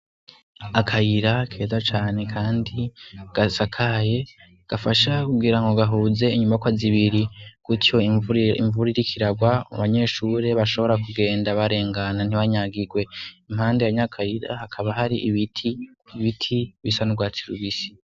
Akayira keza cane kandi gasakaye gafasha kugira ngo gahuze inyubakwa zibiri gucyo imvura iriko iragwa abanyeshure bashobora kugenda barengana ntibanyagirwe, impande ya nya kayira hakaba hari ibiti, ibiti bisa n'urwatsi rubisi.